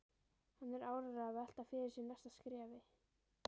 Hann er áreiðanlega að velta fyrir sér næsta skrefi.